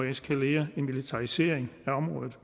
eskalere en militarisering af området